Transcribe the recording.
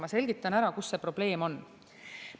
Ma selgitan, kus see probleem on.